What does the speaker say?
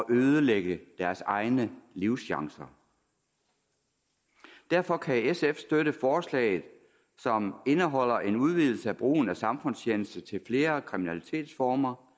ødelægge deres egne livschancer derfor kan sf støtte forslaget som indeholder en udvidelse af brugen af samfundstjeneste til flere kriminalitetsformer